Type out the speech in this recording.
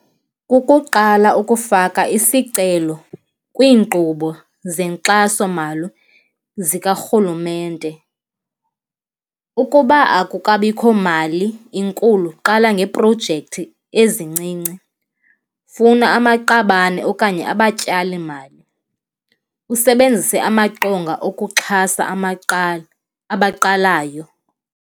Kukuqala ukufaka isicelo kwiinkqubo zenkxasomali zikarhulumente. Ukuba akukabikho mali inkulu, qala ngeeprojekthi ezincinci. Funa amaqabane okanye abatyalimali, usebenzise amaqonga okokuxhasa abaqalayo.